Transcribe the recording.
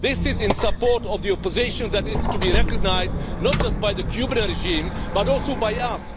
This is in support of the opposition that is to be recognised not just by the Cuban regime but also by us.